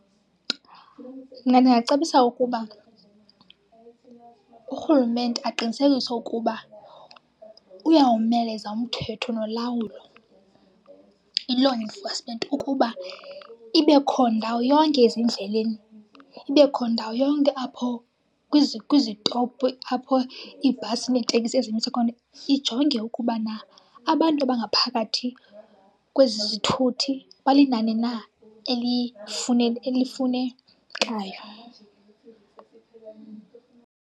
Mna ndingacebisa ukuba urhulumente aqinisekise ukuba uyawomeleza umthetho nolawulo, i-law enforcement ukuba ibekho ndawo yonke ezindleleni, ibekho ndawo yonke apho kwizitopu apho iibhasi neeteksi ezenintsi khona. Ijonge ukubana abantu abangaphakathi kwezi zithuthi balinani na elifunekayo.